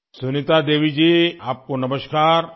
سنیتا دیوی جی، آپ کو نمسکار